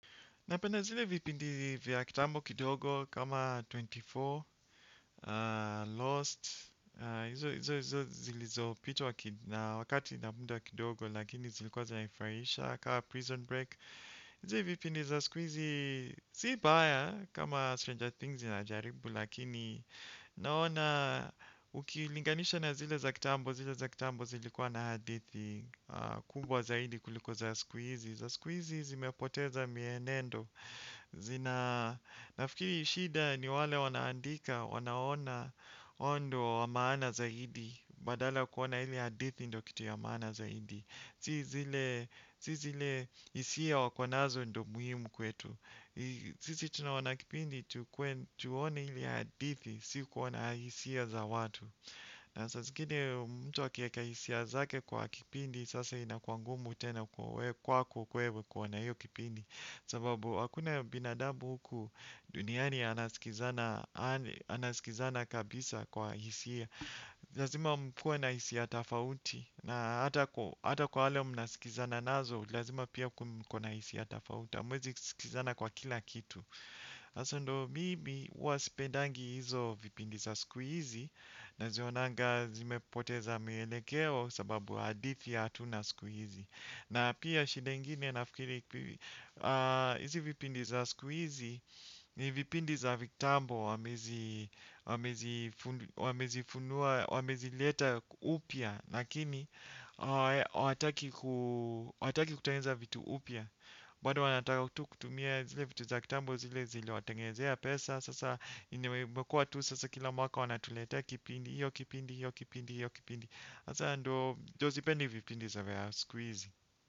Napenda zile vipindi vya kitambo kidogo kama ishirini na nne, lost, izo izo zilizo pitwa na wakati na mda kidogo lakini zilikuwa zinanifurahisha kaa prison break. Hizi vipindi za siku hizi si mbaya kama Stranger Things inajaribu lakini naona ukilinganisha na zile za kitambo zile za kitambo zilikuwa na hadithi kubwa zaidi kuliko za siku hizi. Za siku hizi zimepoteza mienendo nafikiri shida ni wale wanaandika wanaona ondo wa maana zaidi badala kuona ili hadithi ndo kitu ya maana zaidi si zile hisia wakonazo ndo muhimu kwetu sisi tunaona kipindi tuone ili hadithi si kuona hisia za watu na saa zingine mtu akieka hisia zake kwa kipindi sasa ina kuwa ngumu tena kwako kwewe kwa na hiyo kipindi sababu hakuna binadamu huku duniani anaskizana anasikizana kabisa kwa hisia lazima mkuwe na hisia tofauti na hata hata kwa wale mnasikizana nazo lazima pia mko na hisia tofauti hamuwezi sikizana kwa kila kitu. Sasa ndo mimi uwasipendangi hizo vipindi za siku hizi na zionanga zimepoteza mielekeo sababu hadithi hatuna siku hizi na pia shida ingine nafikiri hizi vipindi za siku hizi ni vipindi za viktambo wamezifunua wamezileta upya lakini hawa hawataki kutengeneza vitu upya bado wanataka kutumia zile vitu za kitambo zile zile watengezea pesa sasa imekuwa sasa kila mwaka wanatuleta kipindi hiyo kipindi hiyo kipindi hiyo kipindi. Sasa ndo sipendi vipindi za siku hizi.